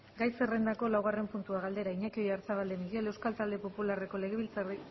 gai zerrendako laugarren puntua galdera iñaki oyarzabal de miguel euskal talde popularreko